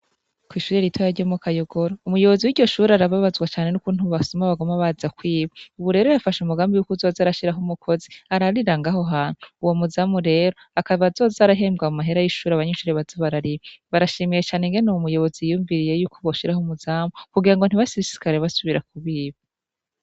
Kw'ishure ritoyi ryo mu Kayogoro, umuyobozi w'iryo shure arababazwa cane n'ukuntu abasuma baguma baza kwiba, ubu rero yafashe umugambi wo kuzoza arashirako umukozi ararira ngaho hantu, uwo muzamu rero akaba azoza arahembwa mu mahera y'ishure abanyeshuri baza barariha, barashimiye cane ingene uwo muyobozi yiyumviriye yuko boshiraho umuzamu kugira ngo ntibasesekare basubira kubiba.